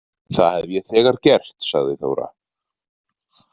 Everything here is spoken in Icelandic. Það hef ég þegar gert, sagði Þóra.